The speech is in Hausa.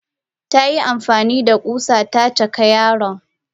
Tayi amfanida kusan ta caki yaron.